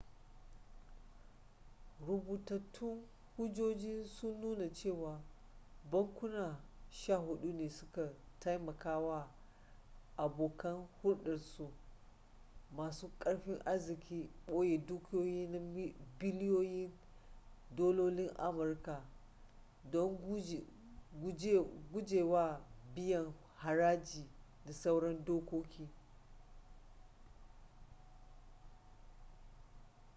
rubutattun hujjoji sun nuna cewa bankuna sha hudu ne su ka taimakawa abokan hurdarsu masu karfin arziki boye dukiyoyi na biliyoyin dalolin amurka don gujewa biyan haraji da sauran dokoki